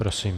Prosím.